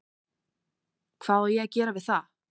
Hvað á ég að gera við það?